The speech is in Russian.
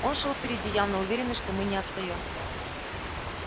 он шёл впереди явно уверенный что мы не отстаём